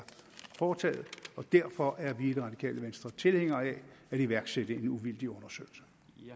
foretaget derfor er vi i det radikale venstre tilhængere af at iværksætte en uvildig undersøgelse